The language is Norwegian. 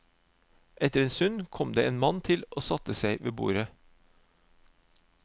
Etter en stund kom det en mann til og satte seg ved bordet.